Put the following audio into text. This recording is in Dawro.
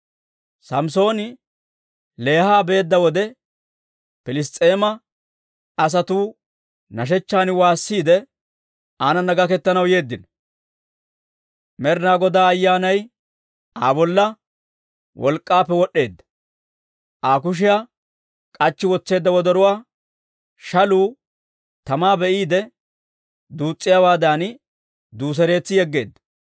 Samssooni Leeha beedda wode, Piliss's'eema asatuu nashechchaan waasiide, aanana gaketanaw yeeddino. Med'inaa Godaa Ayyaanay Aa bolla wolk'k'aappe wod'd'eedda; Aa kushiyaa k'achchi wotseedda wodoruwaa, shaluu tamaa be'iide duus's'iyaawaadan, duuseretsi yegeedda.